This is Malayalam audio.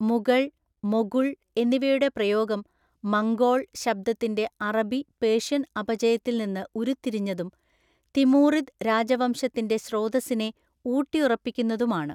മുഗൾ, മൊഗുൾ എന്നിവയുടെ പ്രയോഗം മംഗോൾ ശബ്ദത്തിന്‍റെ അറബി, പേർഷ്യൻ അപചയത്തില്‍ നിന്ന് ഉരുത്തിരിഞ്ഞതും തിമൂറിദ് രാജവംശത്തിന്‍റെ സ്രോതസ്സിനെ ഊട്ടിയുറപ്പിക്കുന്നതും ആണ്.